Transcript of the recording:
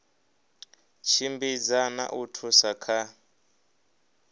tshimbidza na u thusa kha